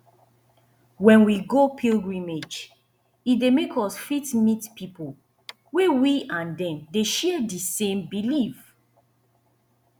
when we go pilgrimage e dey make us fit meet pipo wey we and dem dey share di same belief